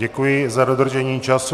Děkuji za dodržení času.